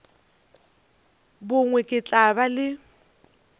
bongwe ke tla ba le